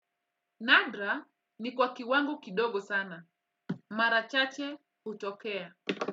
Nadra ni kwa kiwango kidogo sana. Mara chache hutokea.